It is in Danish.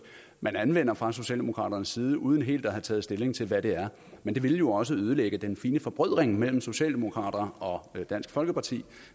man anvender fra socialdemokraterne side uden helt at have taget stilling til hvad det er men det ville jo også ødelægge den fine forbrødring mellem socialdemokraterne og dansk folkeparti